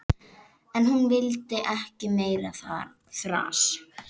En hún vill ekki meira þras.